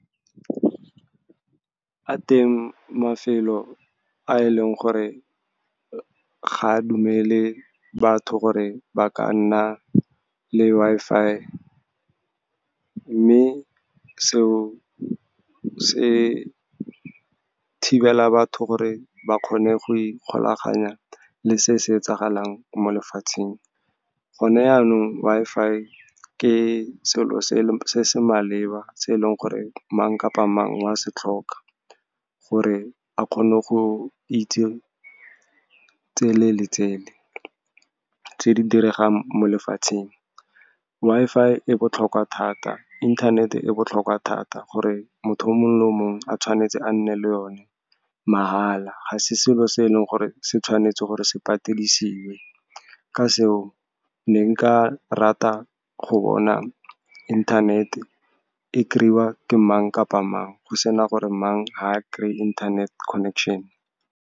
A teng mafelo a e leng gore ga a dumele batho gore ba ka nna le Wi-Fi, mme seo se thibela batho gore ba kgone go ikgolaganya le se se etsagalang mo lefatsheng. Gone yanong, Wi-Fi ke selo se maleba, se eleng gore mang kapa mang wa setlhoka gore a kgone go itse tsele le tsele tse di diregang mo lefatsheng. Wi-Fi e botlhokwa thata, inthanete botlhokwa thata, motho yo mongwe le o mongwe, tshwanetse a nne le yone mahala. Ga se selo se e leng gore se tshwanetse gore se patelisiwe. Ka seo, ne nka rata go bona inthanete e kry-iwe ke mang kapa mang, go sena gore mang ga kry-e internet connection.